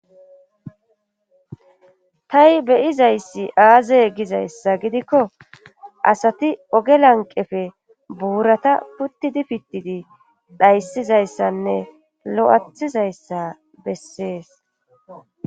tai beyizayssi aaze gizayssa gidikko asati oge lanqefe buurata puttidi pittidi dhayssizayssanne lo7athizayssa bessees